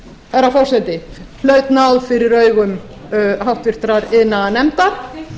herra forseti hlaut náð fyrir augum háttvirtur iðnaðarnefndar